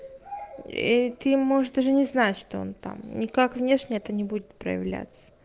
иты можешь даже не знать что он там никак внешне это не будет проявляться